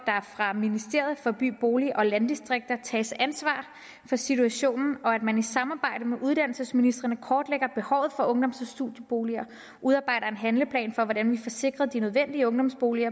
fra ministeriet for by bolig og landdistrikter tages ansvar for situationen og at man i samarbejde med uddannelsesministrene kortlægger behovet for ungdoms og studieboliger udarbejder en handleplan for hvordan vi får sikret de nødvendige ungdomsboliger